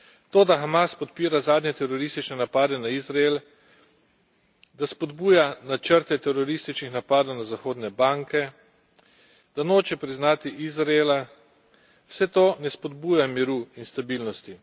To, da Hamas podpira zadnje teroristične napade na Izrael, da spodbuja načrte terorističnih napadov na zahodne banke, da noče priznati Izraela, vse to ne spodbuja miru in stabilnosti.